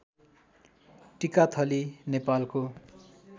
टिकाथली नेपालको